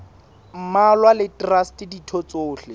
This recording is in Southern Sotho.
mmalwa le traste ditho tsohle